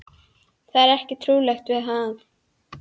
Það er ekkert trúarlegt við það.